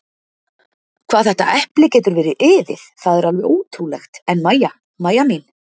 Hvað þetta epli getur verið iðið, það er alveg ótrúlegt en Mæja, Mæja mín.